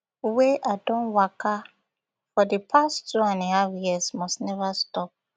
wey i don waka for di past two and half years must neva stop